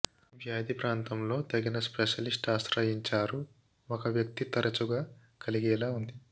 వ్యాధి ప్రాంతంలో తగిన స్పెషలిస్ట్ ఆశ్రయించారు ఒక వ్యక్తి తరచుగా కలిగేలా ఉంది